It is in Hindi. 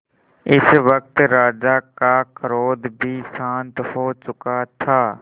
इस वक्त राजा का क्रोध भी शांत हो चुका था